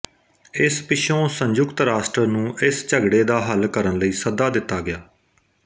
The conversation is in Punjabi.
ਇਸ ਪਿੱਛੋਂ ਸੰਯੁਕਤ ਰਾਸ਼ਟਰ ਨੂੰ ਇਸ ਝਗੜੇ ਦਾ ਹੱਲ ਕਰਨ ਲਈ ਸੱਦਾ ਦਿੱਤਾ ਗਿਆ